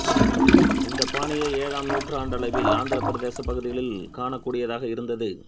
இந்தப் பாணியை ஏழாம் நூற்றாண்டளவில் ஆந்திரப் பிரதேசப் பகுதிகளிலும் காணக்கூடியதாக இருந்தது